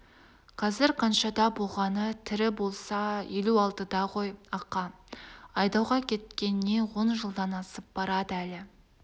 қазір қаншада болғаны тірі болса елу алтыда ғой ақа айдауға кеткеніне он жылдан асып барады әлі